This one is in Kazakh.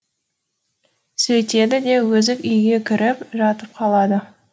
сөйтеді де өзі үйге кіріп жатып қалады